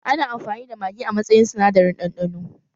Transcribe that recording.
Ana amfani da magi a matsayin sinadarin ɗanɗano